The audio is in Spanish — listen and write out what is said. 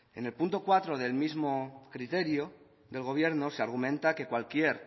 en el punto cuarto del mismo criterio del gobierno se argumenta que cualquier